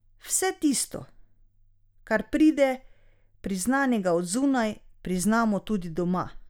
Vse tisto, kar pride priznanega od zunaj, priznamo tudi doma.